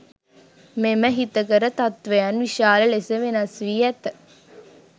මෙම හිතකර තත්වයන් විශාල ලෙස වෙනස් වී ඇත.